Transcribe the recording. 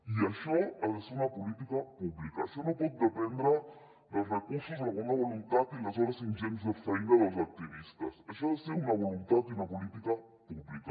i això ha de ser una política pública això no pot dependre dels recursos o de la bona voluntat i les hores ingents de feina dels activistes això ha de ser una voluntat i una política pública